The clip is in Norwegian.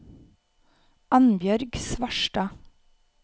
Anbjørg Svarstad